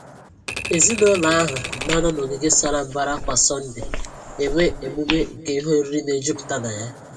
Ezinụlọ ahụ na-anọ n’ogige sara mbara kwa Sọnde enwe emume nke ihe oriri na-ejupụta na ya